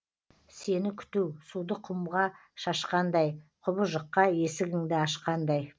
сені күту суды құмға шашқандай құбыжыққа есігіңді ашқандай